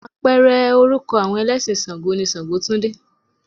Apẹ̀rẹ̀ orúkọ àwọn ẹlẹ́sìn ṣàǹgó ni ṣàǹgótúndé.